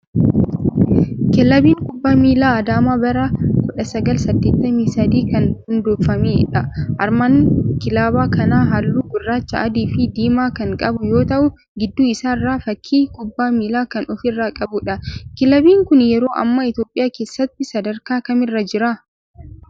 Kilabiin Kubbaa Miilaa Adaamaa bara 1983 kan hundooftedha. Armaan kilaba kanaas halluu gurraacha, adii fi diimaa kan qabu yoo ta'u gidduu isaa irraa fakii kubbaa miilaa kan ofirraa qabudha. Kilabiin kun yeroo ammaa Itoophiyaa keessatti sadarkaa kamirra jira?